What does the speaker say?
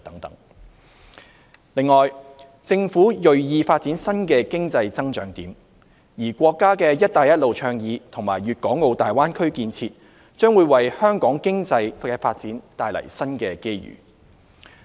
此外，政府銳意發展新的經濟增長點，而國家的"一帶一路"倡議和粵港澳大灣區建設將為香港經濟發展帶來新機遇。